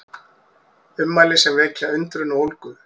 Ummæli sem vekja undrun og ólgu